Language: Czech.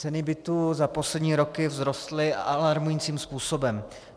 Ceny bytů za poslední roky vzrostly alarmujícím způsobem.